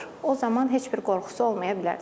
O zaman heç bir qorxusu olmaya bilər.